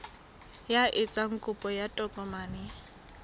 ya etsang kopo ya tokomane